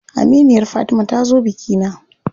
Aminiyar Fatima ta zo bikina.